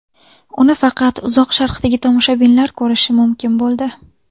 Uni faqat Uzoq Sharqdagi tomoshabinlar ko‘rishi mumkin bo‘ldi.